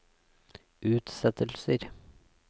utsettelser